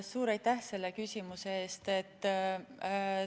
Suur aitäh selle küsimuse eest!